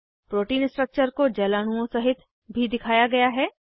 protein structure को जल अणुओं सहित भी दिखाया गया है